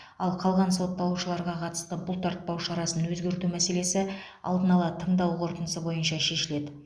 ал қалған сотталушыларға қатысты бұлтартпау шарасын өзгерту мәселесі алдын ала тыңдау қорытындысы бойынша шешіледі